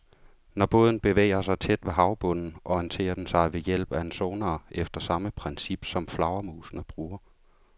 Når båden bevæger sig tæt ved havbunden, orienterer den sig ved hjælp af en sonar efter samme princip, som flagermusene bruger.